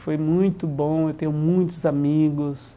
Foi muito bom, eu tenho muitos amigos.